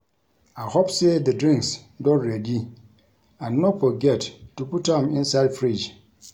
I hope say the drinks don ready and no forget to put am inside fridge